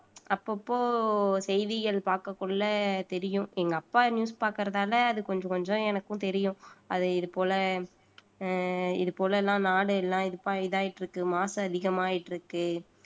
அப்பப்போ செய்திகள் பார்க்கக்குள்ள தெரியும் எங்க அப்பா news பாக்குறதால அது கொஞ்சம் கொஞ்சம் எனக்கும் தெரியும் அது இது போல அஹ் இது போல எல்லாம் நாடு எல்லாம் இது ஆயிட்டிருக்கு மாசு அதிகமாயிட்டு இருக்கு